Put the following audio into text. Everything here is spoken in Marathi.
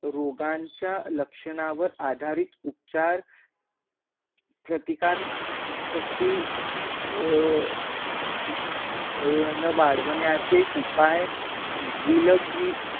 रोगांचा लक्षणा वर आधारित उपचार, प्रतिकार शक्ति अर अ न वाढवण्याचे उपाय विलगी